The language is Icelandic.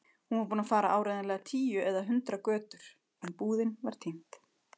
Hún var búin að fara áreiðanlega tíu eða hundrað götur- en búðin var týnd.